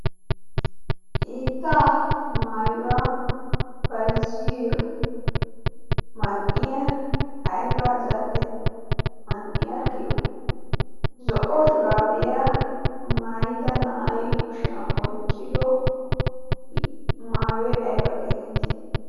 hiittaa mayuwaa bayziyoo man"iyaa aybaa zal"e man"e giyoo? zo'o shuraabiyaa maayidda na'ay kuushiyaan oyqqido maayoy ayba getteeti?